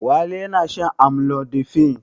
Wali yana shan amlodipine.